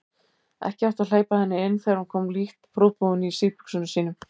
Ekki átti að hleypa henni inn þegar hún kom lítt prúðbúin í síðbuxunum sínum.